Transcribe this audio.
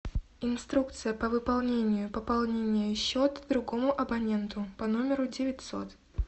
инструкция по выполнению пополнения счета другому абоненту по номеру девятьсот